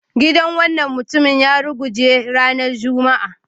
Gidan wannan mutumin ya ruguje ranar Juma'a